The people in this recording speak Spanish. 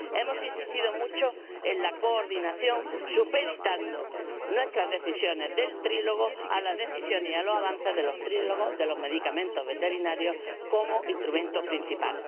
Hemos insistido mucho en la coordinación, supeditando nuestras decisiones del trílogo a las decisiones y a los avances de los trílogos de los medicamentos veterinarios como instrumento principal.